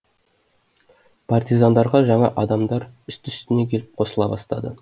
партизандарға жаңа адамдар үсті үстіне келіп қосыла бастады